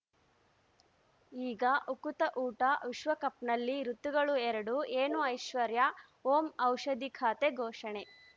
ಈಗ ಉಕುತ ಊಟ ವಿಶ್ವಕಪ್‌ನಲ್ಲಿ ಋತುಗಳು ಎರಡು ಏನು ಐಶ್ವರ್ಯಾ ಓಂ ಔಷಧಿ ಖಾತೆ ಘೋಷಣೆ